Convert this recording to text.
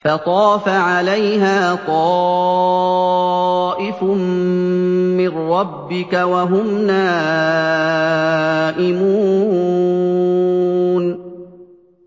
فَطَافَ عَلَيْهَا طَائِفٌ مِّن رَّبِّكَ وَهُمْ نَائِمُونَ